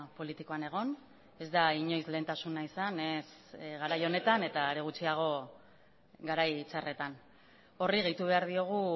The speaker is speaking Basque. politikoan egon ez da inoiz lehentasuna izan ez garai honetan eta are gutxiago garai txarretan horri gehitu behar diogu